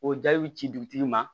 O jaw ci dugutigi ma